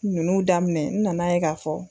Nunnu daminɛ n nana ye ka fɔ.